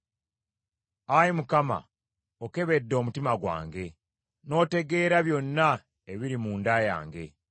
Ayi Mukama , okebedde omutima gwange, n’otegeera byonna ebiri munda yange.